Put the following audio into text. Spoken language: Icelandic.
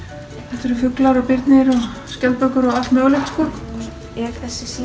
þetta eru fuglar og birnir og skjaldbökur og allt mögulegt er